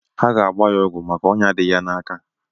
Ha ga-ágbá ya ọgwụ maka ọnyá dị ya n'áká